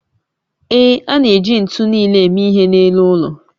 Ee, a na-eji ntu nile eme ihe n'elu ụlọ